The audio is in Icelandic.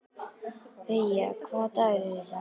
Veiga, hvaða dagur er í dag?